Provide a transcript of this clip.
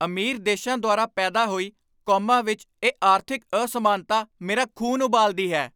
ਅਮੀਰ ਦੇਸ਼ਾਂ ਦੁਆਰਾ ਪੈਦਾ ਹੋਈ ਕੌਮਾਂ ਵਿੱਚ ਇਹ ਆਰਥਿਕ ਅਸਮਾਨਤਾ ਮੇਰਾ ਖ਼ੂਨ ਉਬਾਲਦੀ ਹੈ।